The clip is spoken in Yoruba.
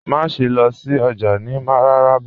Màṣẹ̀ lọ sí ọjà ni Mararaba